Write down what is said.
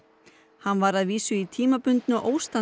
hann var að vísu í tímabundnu